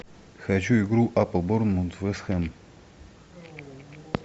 хочу игру апл борнмут вест хэм